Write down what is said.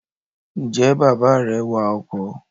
Ǹjẹ́ bàbá rẹ wa ọkọ̀?